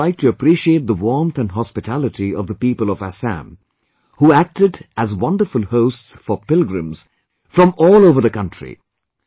Here I would like to appreciate the warmth and hospitality of the people of Assam, who acted as wonderful hosts for pilgrims from all over the country